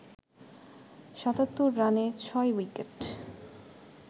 ৭৭ রানে ৬ উইকেট